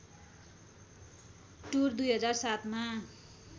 tour २००७ मा